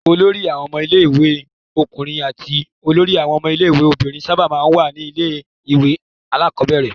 Olórí àwọn ọmọ ilé-ìwé ọkùnrin àti olórí àwọn ọmọ ilé-ìwé obìnrin sábà máa ń wà ní ilé-ìwé alákọ̀ọ́bẹ̀rẹ̀.